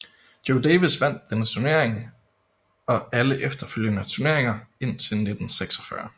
Joe Davis vandt denne turnering og alle efterfølgende turneringer indtil 1946